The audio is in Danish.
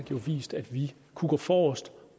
jo vist at vi kunne gå forrest